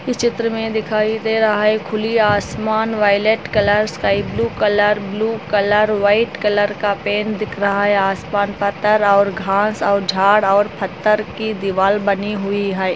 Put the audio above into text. चित्र में दिखाई दे रहा है खुली आसमान violet colour sky blue colour blue colour white colour का पेन दिख रहा है आसमान पता और घास और झाड़ और पत्थर की दीवार बनी हुई है|